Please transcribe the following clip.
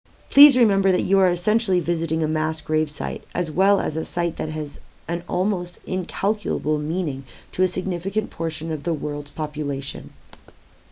please remember that you are essentially visiting a mass grave site as well as a site that has an almost incalculable meaning to a significant portion of the world's population